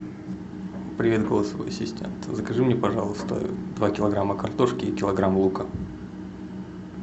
привет голосовой ассистент закажи мне пожалуйста два килограмма картошки и килограмм лука